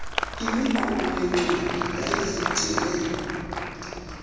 imiqulu yeencwadi yayizigcine